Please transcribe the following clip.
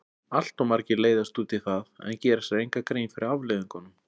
Allt of margir leiðast út í það en gera sér enga grein fyrir afleiðingunum.